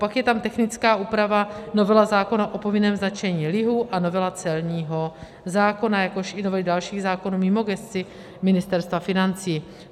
Pak je tam technická úprava, novela zákona o povinném značení lihu a novela celního zákona, jakož i novely dalších zákonů mimo gesci Ministerstva financí.